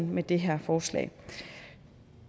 med det her forslag